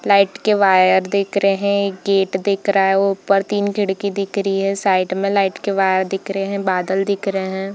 Light के wire दिख रहें हैं गेट दिख रहा है ऊपर तीन खिड़की दिख रही है साइड में लाइट के वायर दिख रहें हैं बादल दिख रहें हैं।